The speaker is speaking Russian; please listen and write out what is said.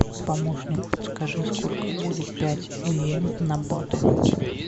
помощник подскажи сколько будет пять йен на баты